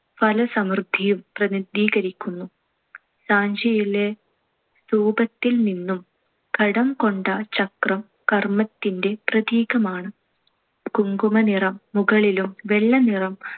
ഫലസമൃദ്ധിയും പ്രതിനിധീകരിക്കും. സാഞ്ചിയിലെ സ്‌തൂപത്തിൽ നിന്നും കടംകൊണ്ട ചക്രം കർമ്മത്തിന്‍റെ പ്രതീകമാണ്. കുങ്കുമനിറം മുകളിലും വെള്ളനിറം